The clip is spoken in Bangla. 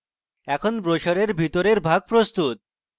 এখন ব্রোসারের ভিতরের ভাগ প্রস্তুত